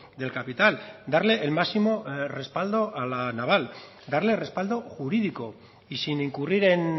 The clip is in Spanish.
del capital darle el máximo respaldo a la naval darle respaldo jurídico y sin incurrir en